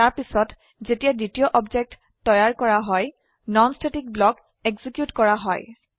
তাৰপিছত যেতিয়া দ্বিতীয় অবজেক্ট তৈয়াৰ কৰা হয় নন স্ট্যাটিক ব্লক এক্সিকিউট কৰা হয়